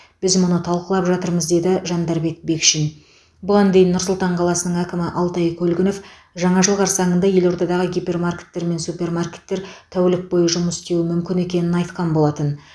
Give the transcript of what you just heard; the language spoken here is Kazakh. біз мұны талқылап жатырмыз деді жандарбек бекшин бұған дейін нұр сұлтан қаласының әкімі алтай көлгінов жаңа жыл қарсаңында елордадағы гипермаркеттер мен супермаркеттер тәулік бойы жұмыс істеуі мүмкін екенін айтқан болатын